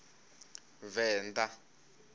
venda